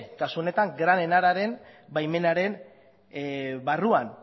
kasu honetan gran enararen baimenaren barruan